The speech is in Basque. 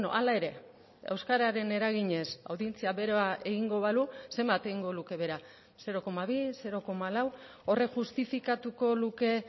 hala ere euskararen eraginez audientzia behera egingo balu zenbat egingo luke behera zero koma bi zero koma lau horrek justifikatuko luke